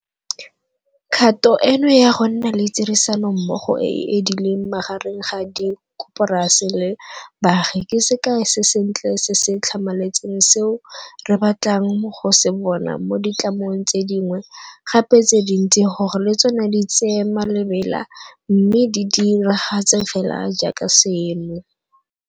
Kgato eno ya gonna le tirisanommogo e e edileng magareng ga dikoporasi le baagi ke sekai se sentle se se tlhamaletseng seo re batlang go se bona mo ditlamong tse dingwe gape tse dintsi gore le tsona di tsee malebela mme di diragatse fela jaaka seno.